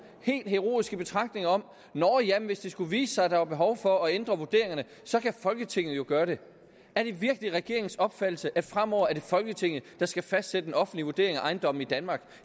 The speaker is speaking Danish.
helt heroiske betragtninger om at hvis det skulle vise sig at der er behov for at ændre vurderingerne så kan folketinget jo gøre det er det virkelig regeringens opfattelse at det fremover er folketinget der skal fastsætte den offentlige vurdering af ejendommene i danmark